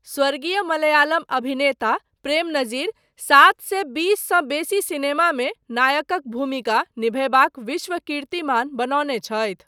स्वर्गीय मलयालम अभिनेता प्रेम नजीर सात सए बीस सँ बेसी सिनेमामे नायकक भूमिका निभयबाक विश्व कीर्तिमान बनौने छथि।